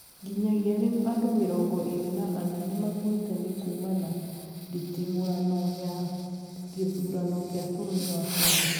Nginyagia rĩu andũ mĩrongo ĩrĩ na ana nĩmakuĩte nĩ kuumana ndititimũrano ya gĩthurano kĩa bũrũri wa Kenya